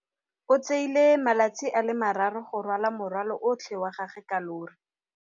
O tsere malatsi a le marraro go rwala morwalo otlhe wa gagwe ka llori.